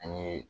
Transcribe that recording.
An ye